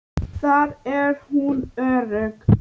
Þar er hún örugg.